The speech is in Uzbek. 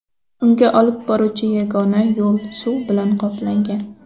Unga olib boruvchi yagona yo‘l suv bilan qoplangan.